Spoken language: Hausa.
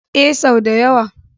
Ee, sau da yawa.